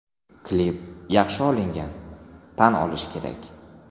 Klip yaxshi olingan, tan olish kerak.